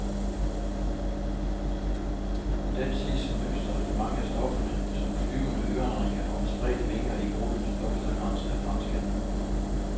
Den ses som mønster i mange af stofferne, som flyvende ørenringe og med spredte vinger i brudens blomsterkrans af franske anemoner.